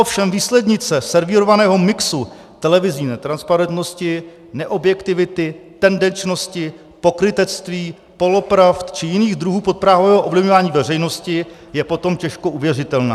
Ovšem výslednice servírovaného mixu televizní netransparentnosti, neobjektivity, tendenčnosti, pokrytectví, polopravd či jiných druhů podprahového ovlivňování veřejnosti je potom těžko uvěřitelná.